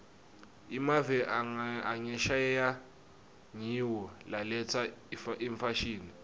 emave angesheya ngiwo laletsa imfashini